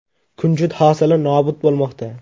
Kunjut hosili nobud bo‘lmoqda.